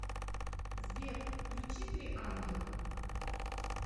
сбер включи три ангела